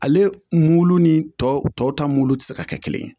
Ale mulu ni tɔw ta mulu tɛ se ka kɛ kelen ye